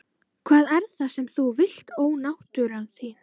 Hvað er það sem þú vilt ónáttúran þín?